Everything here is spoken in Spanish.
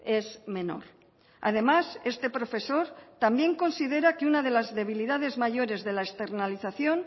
es menor además este profesor también considera que una de las debilidades mayores de la externalización